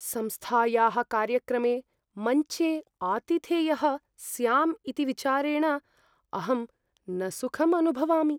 संस्थायाः कार्यक्रमे मञ्चे आतिथेयः स्याम् इति विचारेण अहं न सुखम् अनुभवामि।